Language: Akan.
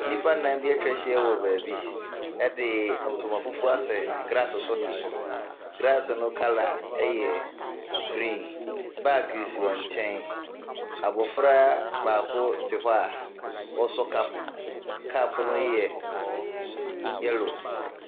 Nnipa nan bi atwa ahyia wɔ baabi, ɛde ntoma fufuo asɛ glaase so te so. Glaase no kala ɛyɛ grin, baage sisi wɔn nkyɛn, abɔfra baako te hɔ a ɔɔsɔ kap mu. Kap no yɛ yɛlo.